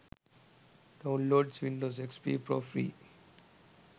downloads windows xp pro free